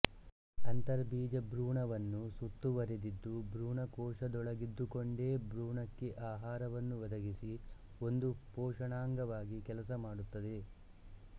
ಅಂತರ್ಬೀಜ ಭ್ರೂಣವನ್ನು ಸುತ್ತುವರಿದಿದ್ದು ಭ್ರೂಣ ಕೋಶದೊಳಗಿದ್ದುಕೊಂಡೇ ಭ್ರೂಣಕ್ಕೆ ಆಹಾರವನ್ನು ಒದಗಿಸಿ ಒಂದು ಪೋಷಣಾಂಗವಾಗಿ ಕೆಲಸ ಮಾಡುತ್ತದೆ